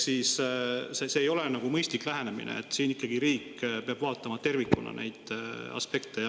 See ei ole mõistlik lähenemine, riik peab siin ikkagi vaatama tervikuna neid aspekte.